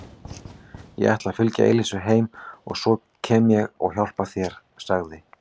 Ég ætla að fylgja Elísu heim og svo kem ég og hjálpa þér sagði